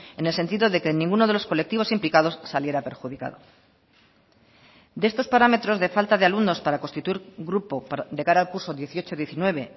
en el sentido de que en ninguno de los colectivos implicados saliera perjudicado de estos parámetros de falta de alumnos para constituir grupo de cara al curso dieciocho diecinueve